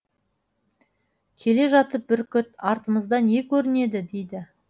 келе жатып бүркіт артымызда не көрінеді дейді